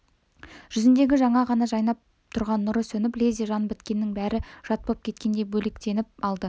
жүзіндегі жаңа ғана жайнап тұрған нұры сөніп лезде жан біткеннің бәрі жат боп кеткендей бөлектеніп алды